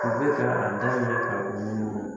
U bɛ ka